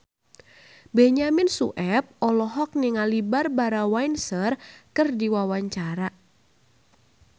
Benyamin Sueb olohok ningali Barbara Windsor keur diwawancara